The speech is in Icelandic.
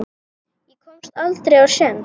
Ég komst aldrei á séns.